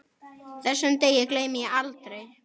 Þessum degi gleymi ég aldrei.